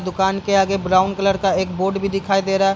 दुकान के आगे ब्राउन कलर का एक बोर्ड भी दिखाई दे रहा है।